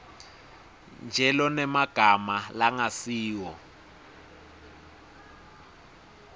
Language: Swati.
nje lonemagama langasiwo